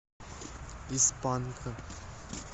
из панка